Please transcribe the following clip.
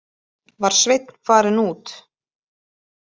Var Sveinn farinn út?